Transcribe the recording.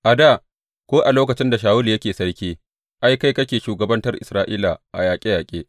A dā, ko a lokacin da Shawulu yake sarki, ai, kai ne kake shugabantar Isra’ila a yaƙe yaƙe.